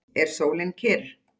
Er sólin kyrr?